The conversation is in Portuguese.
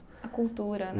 A cultura, né?